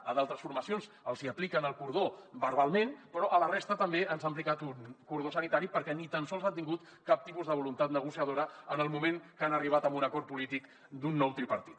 a d’altres formacions els hi apliquen el cordó verbalment però a la resta també ens han aplicat un cordó sanitari perquè ni tan sols han tingut cap tipus de voluntat negociadora en el moment que han arribat a un acord polític d’un nou tripartit